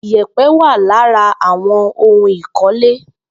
Ìyèpẹ̀ wà lára àwọn ohun ìkọ́lé